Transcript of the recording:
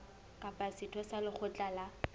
kapa setho sa lekgotla la